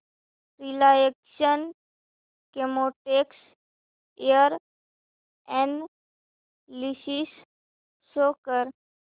Reliance Chemotex share analysis show कर